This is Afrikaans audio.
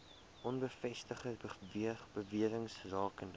onbevestigde bewerings rakende